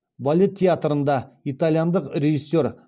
балет театрында итальяндық режиссер